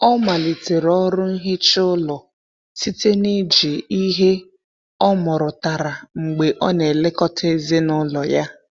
Ọ malitere ọrụ nhicha ụlọ site na iji ihe ọmụrụtara mgbe ọ na-elekọta ezinụlọ ya.